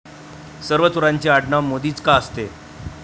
सर्व चोरांचे आडनाव मोदीच का असते?